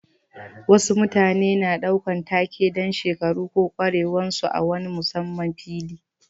Wasu mutane na ɗaukan take dan shekaru ko kwarewan su a wani musamman fili.